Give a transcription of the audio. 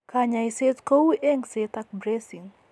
Kanyaiset kou engset ak bracing